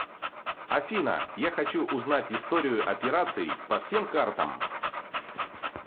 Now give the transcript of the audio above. афина я хочу узнать историю операций по всем картам